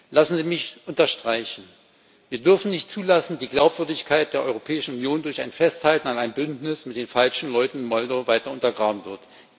Lassen Sie mich unterstreichen Wir dürfen nicht zulassen, dass die Glaubwürdigkeit der Europäischen Union durch ein Festhalten an einem Bündnis mit den falschen Leuten in Moldau weiter untergaben wird.